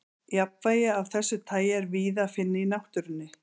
jafnvægi af þessu tagi er víða að finna í náttúrunni